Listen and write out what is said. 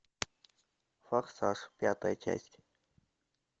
форсаж пятая часть